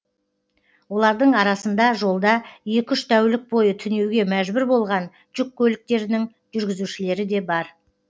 олардың арасында жолда екі үш тәулік бойы түнеуге мәжбүр болған жүк көліктерінің жүргізушілері де бар